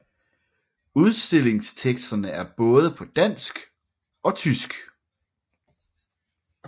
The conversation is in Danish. Udstillingsteksterne er både på dansk og tysk